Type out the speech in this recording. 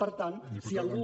per tant si algú